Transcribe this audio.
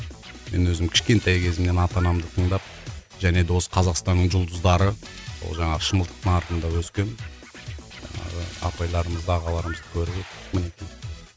мен өзім кішкентай кезімнен ата анамды тыңдап және де осы қазақстанның жұлдыздары ол жаңағы шымылдықтың артында өскен і апайларымызды ағаларымызды көріп мінекей